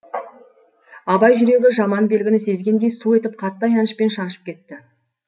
абай жүрегі жаман белгіні сезгендей су етіп қатты аянышпен шаншып кетті